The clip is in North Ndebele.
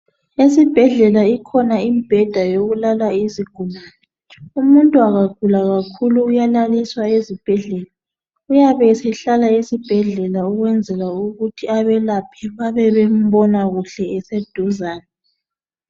Esibhedlela ikhona I'm ebheda yokulala izigulane umuntu engagula kakhulu uyalaliswa esibhedlela iyabe sehlala esibhedlela ukwenzela ukuthi abelaphi bebebembona eseduzane